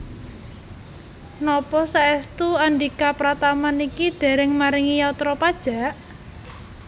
Napa saestu Andhika Pratama niki dereng maringi yatra pajak?